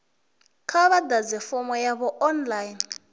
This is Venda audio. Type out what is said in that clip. kha vha ḓadze fomo yavho online